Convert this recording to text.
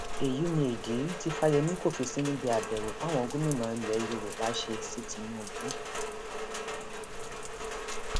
èyí ni ìdí tí fáyemí kò fi sí níbi àbẹwò táwọn gómìnà ilẹ yorùbá ṣe sí tìǹbù